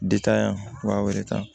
yan wa wɔɔrɔ tan